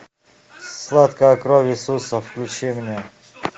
сладкая кровь иисуса включи мне